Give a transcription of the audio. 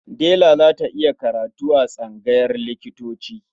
Dela za ta yi karatu a tsangayar likitanci.